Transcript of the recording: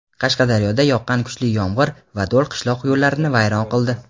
Qashqadaryoda yoqqan kuchli yomg‘ir va do‘l qishloq yo‘llarini vayron qildi.